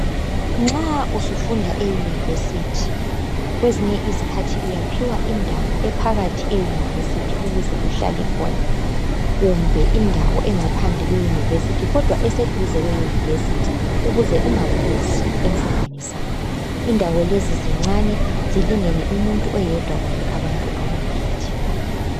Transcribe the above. nxa usufunda e university kwezinye izikhathi uyaphiwa indawo ephakathi e university ukuze uhlale khona kumbe indawo engaphandle kwe university kodwa eseduze kwe university ukuze ungaphuzi emfundweni zakho indawo lezi zincane zilingene umuntu oyedwa kumbe abantu ababili